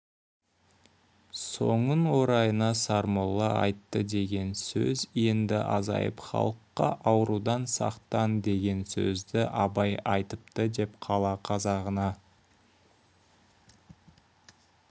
соның орайына сармолла айтты деген сөз енді азайып халыққа аурудан сақтан деген сөзді абай айтыпты деп қала қазағына